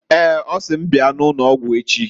Eeǃ Ọ sị m bia n' ụnọgwụ echi.